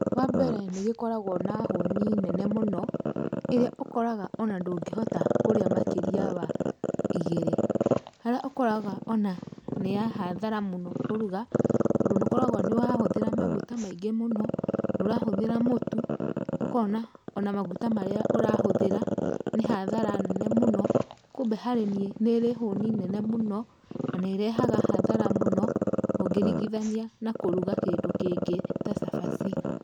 Wambere nĩgĩkoragwo na hũni nene mũno, ĩrĩa ũkoraga ona ndũngĩhota kũrĩa makĩria wa ĩgĩrĩ, harĩa ũkoraga ona nĩya hathara mũno kũruga, tondũ nĩ ũkoragwo nĩ ũrahũthĩra maguta maingĩ mũno, nĩ ũrahũthĩra mũtu, ũkona ona maguta marĩa ũrahũthĩra nĩ hathara nene mũno kumbe harĩ niĩ nĩrĩ hũni nene mũno, na nĩrehaga hathara nene mũno ũngĩringithania na kũruga kĩndũ kĩngĩ ta cabaci.